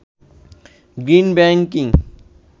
green banking